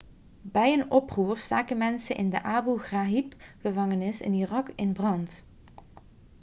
bij een oproer staken mensen de abu ghraib-gevangenis in irak in brand